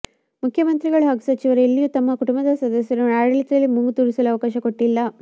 ಮುಖ್ಯಮಂತ್ರಿಗಳು ಹಾಗೂ ಸಚಿವರು ಎಲ್ಲಿಯೂ ತಮ್ಮ ಕುಟುಂಬದ ಸದಸ್ಯರನ್ನು ಆಡಳಿತದಲ್ಲಿ ಮೂಗು ತೂರಿಸಲು ಅವಕಾಶ ಕೊಟ್ಟಿಲ್ಲ